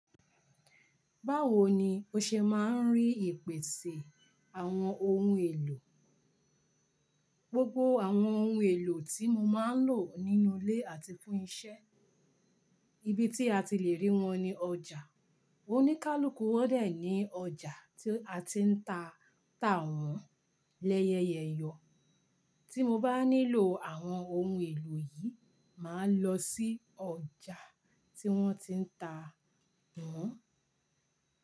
Báwo ni o ṣe máa ń rí ìpèsè àwọn ohun èlò? Gbogbo àwọn ohun èlò tí mo máa ń lò nínú ilé àti fún isẹ́, ibi tí a ti le rí wọn ni ọjà. Oníkálukú wọ́n dẹ̀ ní ọjà tí a ti ń ta tà wọ́n lẹ́yẹyẹ̀yọ. Tí mo bá nílò àwọn ohun èlò yìí, màá lọ sí ọjà tí wọ́n ti ń ta wọ́n.